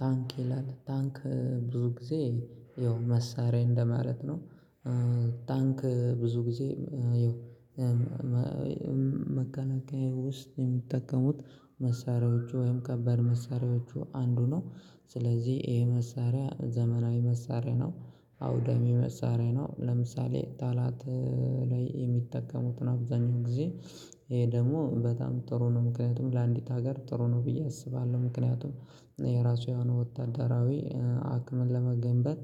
ታንክ ይላል፤ ታንክ ብዙ ጊዜ ያው መሳሪያ እንደማለት ነው። ታንክ ብዙ ጊዜ ያው መከላከያ ውስጥ የሚጠቀሙት መሳሪያዎቹ ወይም ከባድ መሳሪያዎቹ አንዱ ነው። ስለዚህ ይሄ መሳሪያ ዘመናዊ መሳሪያ ነው። አውደሚ መሳሪያ ነው። ለምሳሌ ጠላት ላይ የሚጠቀሙትን አብዛኛው ጊዜ። ይሄ ደግሞ በጣም ጥሩ ነው ምክንያቱም ለአንዲት ሀገር ጥሩ ነው ብዬ አስባለሁ። ምክንያቱም የራሱ የሆነ ወታደራዊ አቅምን ለመገንባት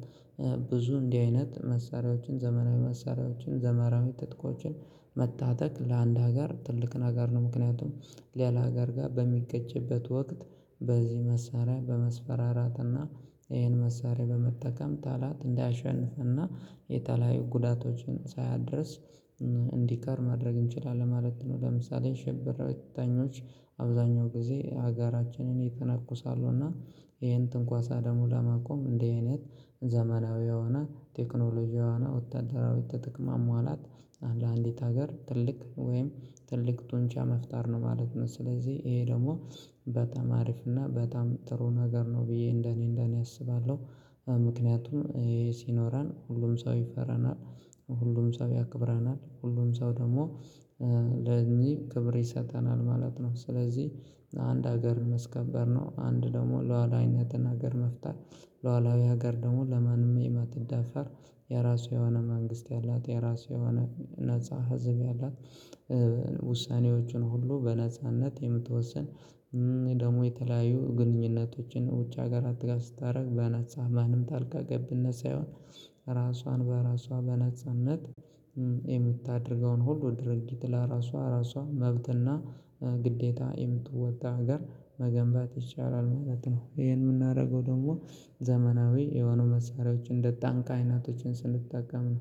ብዙ እንዲህ አይነት መሳሪያዎችን ዘመናዊ መሳሪያዎችን ዘመናዊ ትጥቆችን መታጠቅ ለአንድ ሀገር ትልቅ ነገር ነው። ምክንያቱም ሌላ ሀገር ጋር በሚጋጭበት ወቅት በዚህ መሳሪያ በመስፈራራትና ይሄን መሳሪያ በመጠቀም ጠላት እና የተለያዩ ጉዳቶችን ሳያደርስ እንዲቀር ማድረግ እንችላለን ማለት ነው። ለምሳሌ ሸብርተኞች አብዛኛው ጊዜ አጋራችንን የተነኩሳሉ እና ይሄን ትንኳሳ ደግሞ ለማቆም እንደዚህ አይነት ዘመናዊ የሆነ ቴክኖሎጂ እና ወታደራዊ ትጥቅ ማሟላት አንድ አንዲት ሀገር ትልቅ ወይም ትልቅ ጡንቻ መፍጠር ነው ማለት ነው። ስለዚህ ይሄ ደግሞ በተጣ አሪፍና በጣም ጥሩ ነገር ነው ብዬ እንደኔ እንደኔ አስባለሁ። ምክንያቱም ሲኖረን ሁሉም ሰው ይፈረናል፤ ሁሉም ሰው ያክብረናል ሁሉም ሰው ደግሞ ለእኚህ ክብር ይሰጠናል ማለት ነው። ስለዚህ አንድ ሀገርን ማስከበር ነው፤ አንድ ደግሞ ሉዓላዊነትን ሀገር መፍጠር፣ ሉዓላዊ ሀገር ደግሞ ለማንም የማትዳፈር የራሱ የሆነ መንግስት ያላት፣ የራሱ የሆነ ነፃ ህዝብ ያላት ውሳኔዎቹን ሁሉ በነጻነት የምትወስን፣ ደግሞ የተለያዩ ግንኙነቶችን ውጭ ሀገራት ጋር ስታደርግ በነፃ ማንም ጣልቃ ገብነት ሳይሆን ራሷን በራሷ በነጻነት የምታደርገውን ሁሉ ድርጊት ለራሷ ራሷ መብትና ግዴታ የምትወጣ ሀገር መገንባት ይቻላል ማለት ነው። ይሄን የምናደርገው ደግሞ ዘመናዊ የሆኑ መሳሪያዎች እንደ ታንክ አይናቶችን ስንጠቀም ነው።